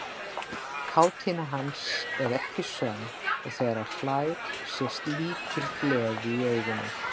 Kátína hans er ekki sönn og þegar hann hlær sést lítil gleði í augunum.